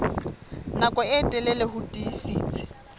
nako e telele ho tiisitse